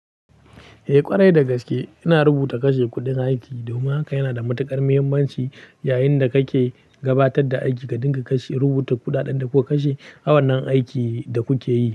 Eh ƙwarai da gaske, ina rubuta kashe kuɗin aiki. Domin haka yana da matuƙar muhimmanci yayin da kake gabatar da aiki ka dinga kashe rubuta kuɗaɗen da kuka kashe a wannan aiki da kuke yi.